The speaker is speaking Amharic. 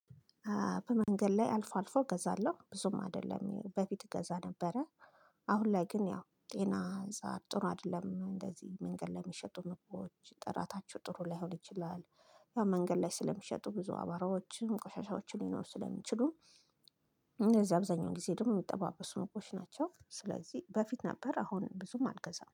በመንገድ ላይ አልፎ አልፎ እገዛለሁ ብዙም አይደለም በፊት እገዛ ነበረ። አሁን ላይ ግን ያው ጤና እዛ ጥሩ አይደለም እንደዚህ መንገድ ለሚሸጡ ምግቦች ጥራታቸው ጥሩ ላይሆን ይችላል። ያው መንገድ ላይ ስለሚሸጡ ብዙ አባራዎችም ቆሻሻዎችም ሊኖሩ ስለሚችሉ። እንደዚህ አብዛኛው ጊዜ ደግሞ የሚጠባበሱ ምግቦች ናቸው ስለዚህ በፊት ነበር አሁን ብዙም አልገዛም